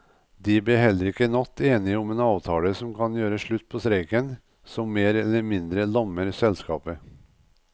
De ble heller ikke i natt enige om en avtale som kan gjøre slutt på streiken som mer eller mindre lammer selskapet.